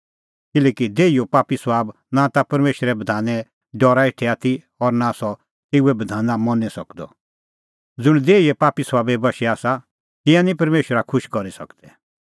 किल्हैकि देहीए पापी सभाबा दी मन लाणअ आसा परमेशरा संघै ज़ीद डाहणीं किल्हैकि देहीओ पापी सभाब नां ता परमेशरे बधाने डरा हेठै आथी और नां सह तेऊए बधाना मनी सकदअ